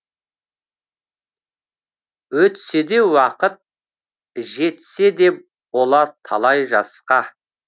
өтсе де уақыт жетсе де бола талай жасқа